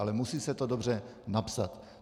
Ale musí se to dobře napsat.